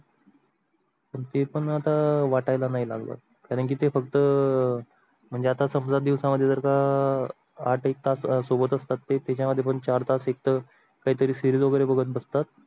पण ते पण आता वाट्याला नाही लागल कारण की ते फक्त म्हणजे आता समजा दिसवा मध्ये जर का आठ एक तास सोबत असतात ते त्याचा मध्ये पण चार एक तास काही तरी series वगेरे बगत बसतात.